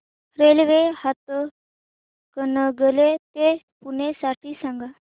railway Hatkanangale ते पुणे साठी सांगा